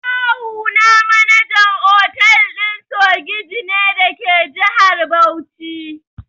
Kawuna manajan otal ɗin sogiji ne dake jihar Bauchi.